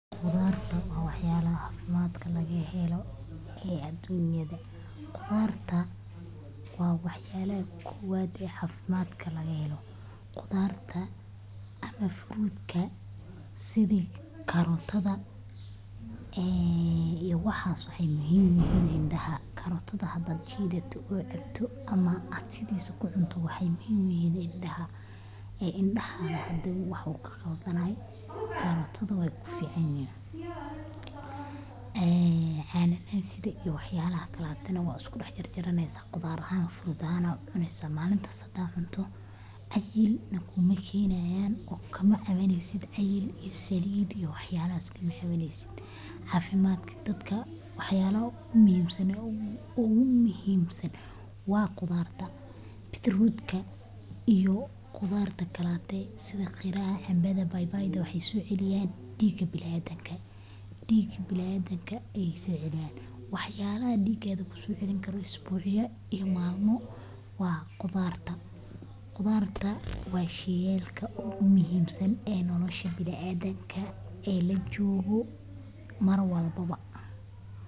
Khudarta waa wax yalaha cafimadka laga helo ee adunyada. Khudradda waxay ka mid yihiin cuntooyinka ugu muhiimsan ee jidhka bini’aadamku u baahan yahay si uu u ahaado mid caafimaad qaba. Waxay hodan ku yihiin fiitamiino Waxaa sidoo kale la ogaaday in cunista khudraddu ay yareyso halista cudurrada wadnaha, kansarka, iyo cayilka xad-dhaafka ah. Dadka si joogto ah u cuna khudrad waxay leeyihiin jidh firfircoon, maqaar nadiif ah nolosha biniadamka ee lajogo mar waliba.